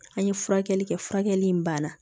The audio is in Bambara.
An ye furakɛli kɛ furakɛli in banna